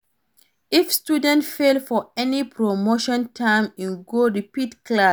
If student fail for any promotion term in go repeat class